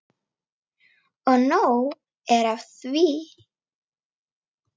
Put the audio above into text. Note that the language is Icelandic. Og nóg er af því.